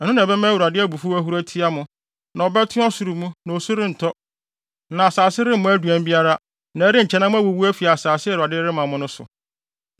Ɛno na ɛbɛma Awurade abufuw ahuru atia mo; na ɔbɛto ɔsoro mu, na osu rentɔ, na asase remmɔ aduan biara, na ɛrenkyɛ na moawuwu afi asase a Awurade de rema mo no so.